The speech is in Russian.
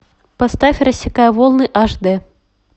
поставь рассекая волны аш дэ